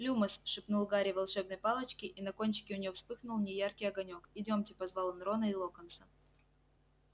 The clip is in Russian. люмос шепнул гарри волшебной палочке и на кончике у неё вспыхнул неяркий огонёк идёмте позвал он рона и локонса